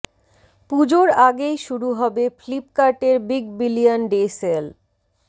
পুজোর আগেই শুরু হবে ফ্লিপকার্টের বিগ বিলিয়ান ডে সেল